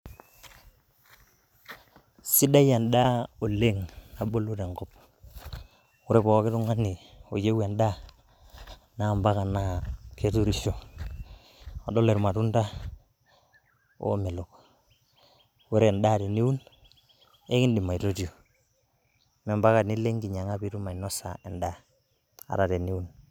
Sidai endaa oleng' nabulu tenkop. Ore pookin tung'ani oyieu endaa naa mpaka na keturisho. Kadolita ilmatunda oomelok. Ore endaa teniun, ekiindim aitotio, mee impaka nilo enkinyang'a pee iindim ainosa endaa